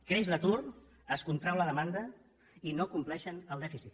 creix l’atur es contrau la demanda i no compleixen el dèficit